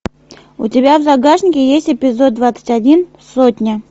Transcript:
у тебя в загашнике есть эпизод двадцать один сотня